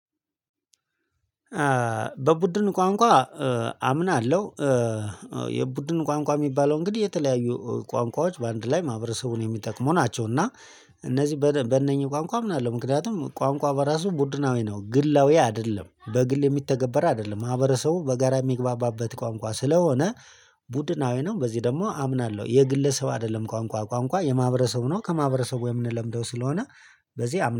በቡድን ቋንቋ አምናለሁ። የቡድን ቋንቋ የሚባለው እንግዲህ የተለያዩ ቋንቋዎች በአንድ ላይ ማህበረሰቡን የሚጠቅሙ ናቸው። እና እነዚህ በእነኚህ ቋንቋ ምናለ ምክንያቱም ቋንቋ በራሱ ቡድናዊ ነው ግላዊ አይደለም በግል የሚተገበር አይደለም ማህበረሰቡን በጋራ የሚግባባበት ቋንቋ ስለሆነ ቡድናዊ ነው። በዚህ ደግሞ አምናለሁ የግለሰብ አይደለም ቋንቋ ቋንቋ የማህበረሰቡ ነው። ከማህበረሰቡ ወይም የምንለምደው ስለሆነ በዚህ